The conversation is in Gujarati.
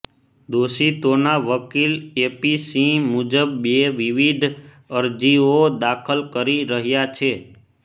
દોષિતોના વકીલ એપી સિંહ મુજબ બે વિવિધ અરજીઓ દાખલ કરી રહ્યા છે